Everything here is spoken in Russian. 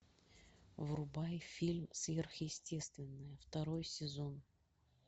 врубай фильм сверхъестественное второй сезон